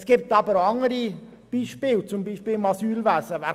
Es gibt aber auch andere Beispiele wie das Asylwesen.